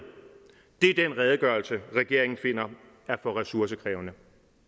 det er den redegørelse regeringen finder er for ressourcekrævende